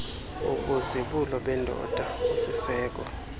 wobuzibulo bendoda usisiseko